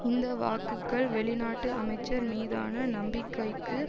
இந்தவாக்குக்கள் வெளிநாட்டு அமைச்சர் மீதான நம்பிக்கைக்கு